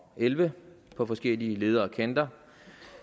elleve på forskellige leder og kanter